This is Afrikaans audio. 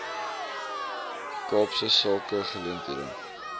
kaapse sake geleenthede